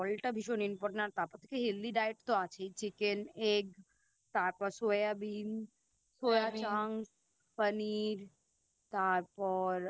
জলটা ভীষণ Important আর তাপর থেকে Healthy diet তো আছেই Chicken egg তারপর Soya bean Paneer তারপর